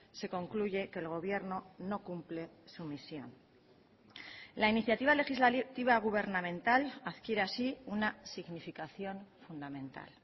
se concluye que el gobierno no cumple su misión la iniciativa legislativa gubernamental adquiere así una significación fundamental